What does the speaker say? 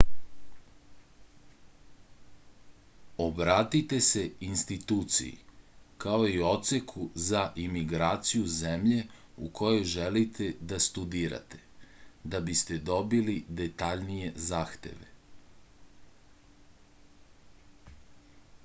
obratite se instituciji kao i odseku za imigraciju zemlje u kojoj želite da studirate da biste dobili detaljnije zahteve